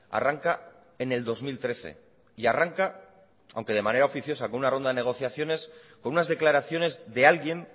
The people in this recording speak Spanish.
arranca en el dos mil trece y arranca aunque de manera oficiosa con una ronda de negociaciones con unas declaraciones de alguien